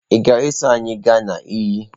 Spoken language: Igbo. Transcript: Ị ga-eso anyị gaa na iyi?